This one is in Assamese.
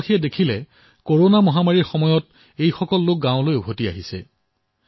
গাঁওবাসীয়ে দেখা পালে যে কৰোনা মহামাৰীৰ সময়ত তেওঁলোকে নিজৰ গাঁৱলৈ ঘূৰি আহিছে